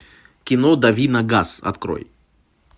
кино дави на газ открой